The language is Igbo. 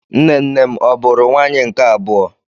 Nne nnem ọ bụụrụ nwaanyị nke abụọ?